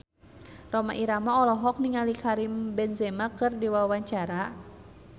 Rhoma Irama olohok ningali Karim Benzema keur diwawancara